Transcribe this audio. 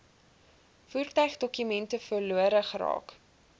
voertuigdokumente verlore geraak